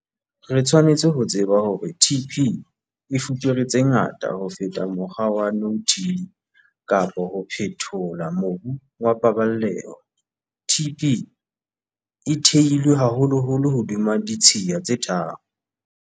Re tshwanetse ho tseba hore TP e fupere tse ngata ho feta mokgwa wa no-till kapa wa ho phethola mobu wa paballeho. TP e theilwe haholoholo hodima ditshiya tse tharo.